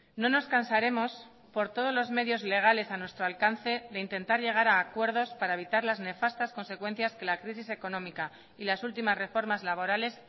no nos cansaremos por todos los medios legales a nuestro alcance de intentar llegar a acuerdos para evitar las nefastas consecuencias que la crisis económica y las últimas reformas laborales